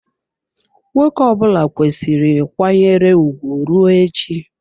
Nwoke ọbụla kwesiri kwanyere ugwu rue echi.